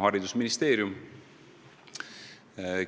Haridusministeerium,